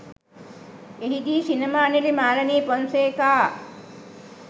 එහිදී සිනමා නිළි මාලනී පොන්සේකා